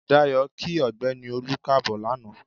Dayọ̀ kí ọ̀gbẹ́ni Olú Káàbọ̀ lanaa.